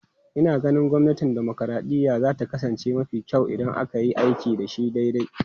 Ina ganin gwamnatin dimokuraɗiyya za ta kasance mafi kyau idan aka yi aiki da shi daidai.